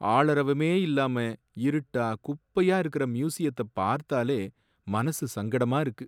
ஆளரவமே இல்லாம இருட்டா குப்பையா இருக்குற மியூசியத்தை பார்த்தாலே மனசு சங்கடமா இருக்கு.